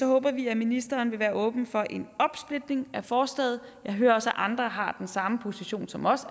håber vi at ministeren vil være åben for en opsplitning af forslaget jeg hører også at andre har den samme position som os